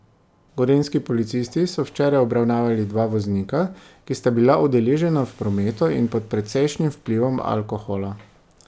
Gorenjski policisti so včeraj obravnavali dva voznika, ki sta bila udeležena v prometu in pod precejšnjim vplivom alkohola.